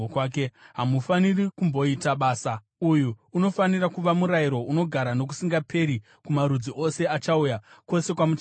Hamufaniri kutomboita basa. Uyu unofanira kuva murayiro unogara nokusingaperi kumarudzi ose achauya, kwose kwamuchagara.